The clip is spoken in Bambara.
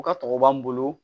U ka tɔgɔ b'an bolo